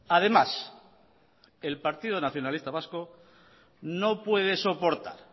además el partido nacionalista vasco no puede soportar